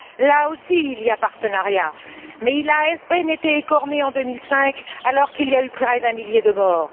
Là aussi, il y a un partenariat, mais il a à peine été écorné en 2005 alors qu'il y a eu près d'un millier de morts.